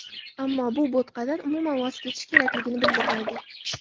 Ammo bu bo‘tqadan, umuman, voz kechish kerakligini bildirmaydi.